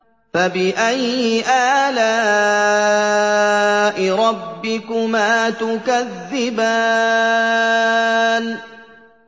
فَبِأَيِّ آلَاءِ رَبِّكُمَا تُكَذِّبَانِ